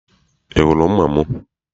I hụrụ mma m?